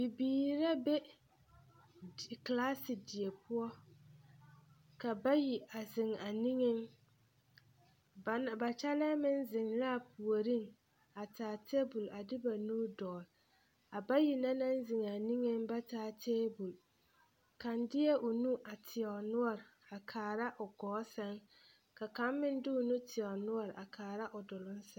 Bibiiri la be kelaase die poɔ ka bayi a zeŋ a niŋeŋ ba kyɛlɛɛ meŋ zeŋ la a puoriŋ a taa teebul a de ma nu dɔɔle a bayi na naŋ zeŋ a niŋeŋ ba taa teebul kaŋ deɛ o nu a teɛ o noɔreŋ a kaara o ɡɔɔ sɛŋ ka kaŋ meŋ de o nu teɛ o noɔre a kaara o doloŋ sɛŋ.